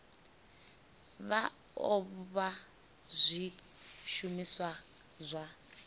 vha o vha zwishumiswa zwa